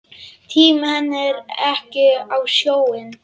Tími henni ekki á sjóinn!